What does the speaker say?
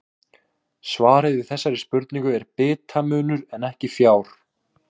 Svarið við þessari spurningu er bitamunur en ekki fjár.